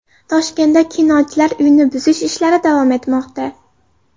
Toshkentda Kinochilar uyini buzish ishlari davom etmoqda.